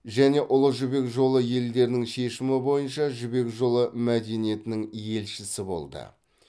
және ұлы жібек жолы елдерінің шешімі бойынша жібек жолы мәдениетінің елшісі болды